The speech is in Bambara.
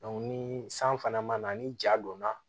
ni san fana ma na ni ja donna